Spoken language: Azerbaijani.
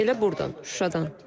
Elə burdan, Şuşadan.